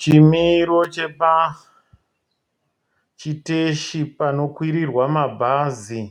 Chimiro chepachiteshi panokwirirwa mabhazi.